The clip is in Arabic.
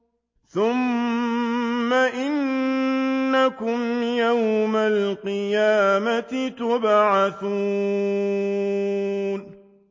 ثُمَّ إِنَّكُمْ يَوْمَ الْقِيَامَةِ تُبْعَثُونَ